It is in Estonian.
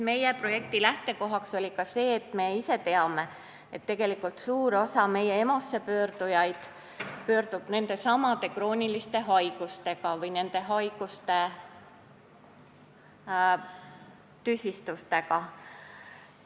Meie projekti lähtekoht oli ka see, mida me ise teame, et suur osa meie EMO-sse pöördujatest tuleb sinna nendesamade krooniliste haiguste või nende tüsistustega.